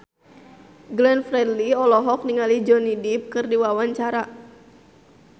Glenn Fredly olohok ningali Johnny Depp keur diwawancara